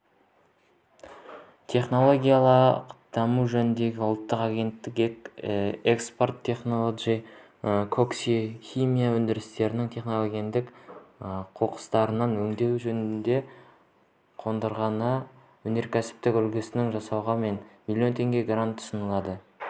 технологиялық даму жөніндегі ұлттық агенттігі экопромтехнолоджи коксохимия өндірісінің техногендік қоқыстарын өңдеу жөнінде қондырғының өнеркәсіптік үлгісін жасауға млн теңге грант ұсынды